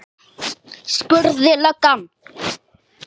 spurði löggan.